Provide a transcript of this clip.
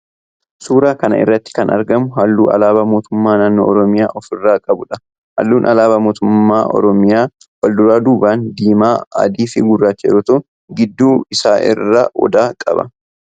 suuraa kana irratti kan agarru halluu alaabaa mootummaa naannoo oromiyaa of irraa qabudha. halluun alaabaa mootummaa oromiyaa walduraa duuban diimaa, adii fi gurraacha yoo ta'u gidduu isaa irraa odaa qaba.